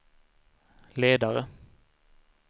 ledare